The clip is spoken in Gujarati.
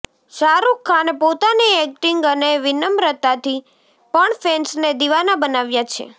શાહરુખ ખાને પોતાની એક્ટિંગ અને વિનમ્રતાથી પણ ફેન્સને દિવાના બનાવ્યા છે